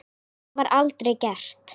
Það var aldrei gert.